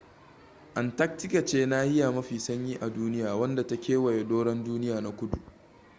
antarctica ce nahiya mafi sanyi a duniya wadda ta kewaye doron duniya na kudu